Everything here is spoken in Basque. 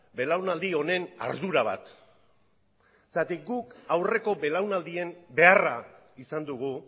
belaunaldi honen ardura bat dela zergatik guk aurreko belaunaldien beharra izan dugu